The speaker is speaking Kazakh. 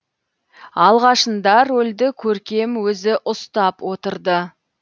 алғашында рөлді көркем өзі ұстап отырды